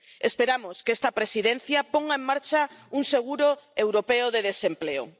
Esperamos que esta Presidencia ponga en marcha un seguro europeo de desempleo.